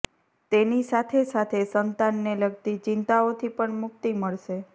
તેની સાથે સાથે સંતાનને લગતી ચિંતાઓથી પણ મુક્તિ મળશે